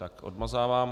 Ne, odmazávám.